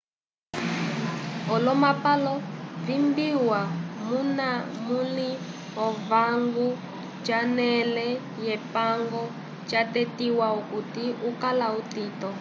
olomapalo vibiwa muna munli owango conele yepango cwatetiwa okuti ukala utito